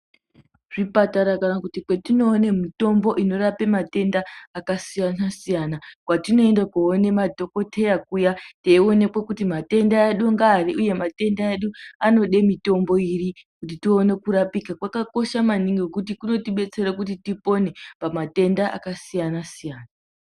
Zvipatara kana kuti kwatine mitombo inorape matenda akasiyana-siyana. Kwatinoende kunoone madhokoteya kuya teioneke kuti matenda edu ngeari, uye matenga edu anoda mitombo ipi kuti tione kurapike, kwakakoshe maningi ngekuti kunotibetsera kuti tipone pamatenda akasiyana-siyana.